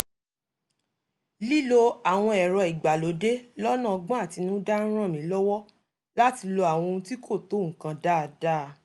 lílo àwọn ẹ̀rọ ìgbàlódé lọ́nà ọ́gbọ́n àtinúdá ń ràn mí lọ́wọ́ láti lo àwọn ohun tí kò tó nǹkan dáadáa